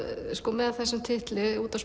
með þessum titli út á